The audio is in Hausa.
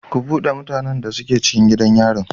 Ku bude mutanan da suke cikin gidan yari.